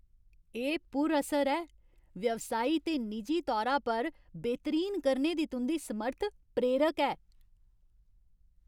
एह् पुर असर ऐ। व्यवसाई ते निजी तौरा पर बेहतरीन करने दी तुं'दी समर्थ प्रेरक ऐ।